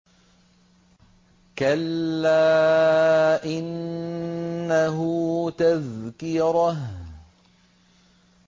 كَلَّا إِنَّهُ تَذْكِرَةٌ